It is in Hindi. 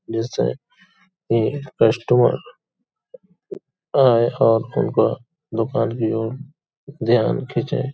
जैसे की कस्टमर आये और उनका दुकान की ओर ध्यान खिचे |